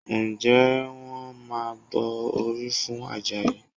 Ǹjẹ́ wọ́n máa bọ orí fún Àjàyí?